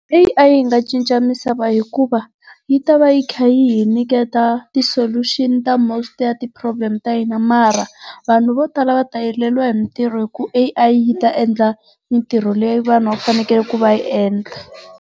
Leyi a yi nga cinca misava hikuva yi ta va yi kha yi hi nyiketa ti-solution ta most ya ti-problem ta hina mara vanhu vo tala va ta heleriwa hi mitirho hi ku A_I yi ta endla mitirho leyi vanhu va fanekele ku va yi endla.